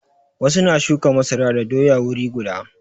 Wasu na shuka masara da doya wuri guda.